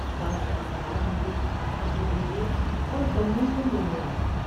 بادشاہ سوار ہو کے اپنے بیٹے اور بہوؤں کو لینے آیا ۔